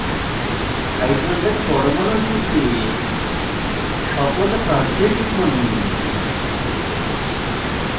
hydrogen পরমাণু জুড়তে সকল প্রান্তে টিপুন